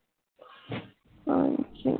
ਪੰਛ